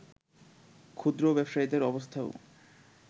ক্ষুদ্র ব্যবসায়ীদের অবস্থাও